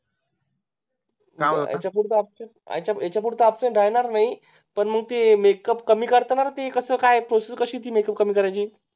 याच्या पुढे Abcent राहणार नाही पण मग ती MAke up कमी करता ना रे ती कस काय Process कशी आहे ती Make up कमी करायची